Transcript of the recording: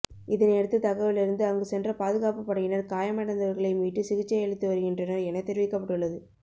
இதனையடுத்து தகவலறிந்து அங்கு சென்ற பாதுகாப்பு படையினர் காயமடைந்தவர்களை மீட்டு சிகிச்சை அளித்து வருகின்றனர் எனத் தெரிவிக்கப்பட்டுள்ளது